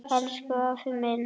Elsku afi minn!